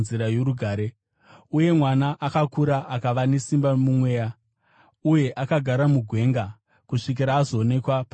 Uye mwana akakura akava nesimba mumweya; uye akagara mugwenga kusvikira azoonekwa pachena kuvaIsraeri.